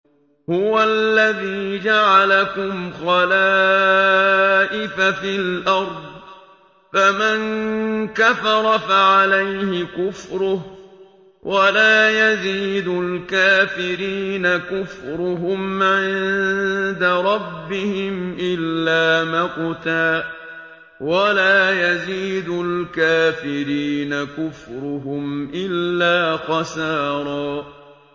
هُوَ الَّذِي جَعَلَكُمْ خَلَائِفَ فِي الْأَرْضِ ۚ فَمَن كَفَرَ فَعَلَيْهِ كُفْرُهُ ۖ وَلَا يَزِيدُ الْكَافِرِينَ كُفْرُهُمْ عِندَ رَبِّهِمْ إِلَّا مَقْتًا ۖ وَلَا يَزِيدُ الْكَافِرِينَ كُفْرُهُمْ إِلَّا خَسَارًا